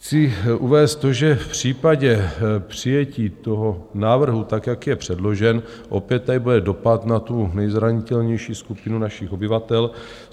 Chci uvést to, že v případě přijetí toho návrhu tak, jak je předložen, opět tady bude dopad na tu nejzranitelnější skupinu našich obyvatel.